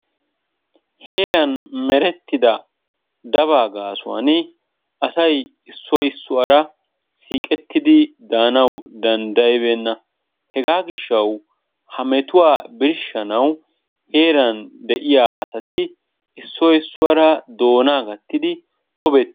Heeran merettidaa dabaa gaasuwaani asay issoy issuwaara siiqettidi danawu danddayibeena. Hegaa giishshawu ha mettuwaa birshshanawu heeran de'iyaa asati issoy issuwaara doonaa gaattidi tobbe.